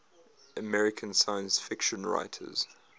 american science fiction writers